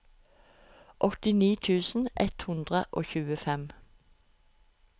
åttini tusen ett hundre og tjuefem